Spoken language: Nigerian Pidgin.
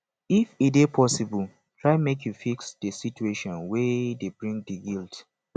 if e dey possible try make you fix di situation wey dey bring di guilt